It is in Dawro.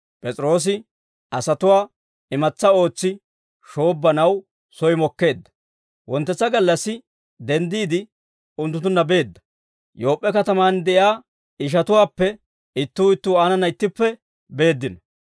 P'es'iroosi asatuwaa imatsa ootsi shoobbanaw soy mokkeedda. Wonttetsa gallassi, denddiide unttunttunna beedda; Yoop'p'e katamaan de'iyaa ishatuwaappe ittuu ittuu aanana ittippe beeddino.